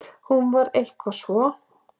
Hún var eitthvað svo.